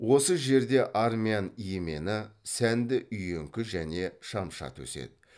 осы жерде армян емені сәнді үйеңкі және шамшат өседі